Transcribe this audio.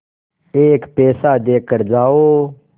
एक पैसा देकर जाओ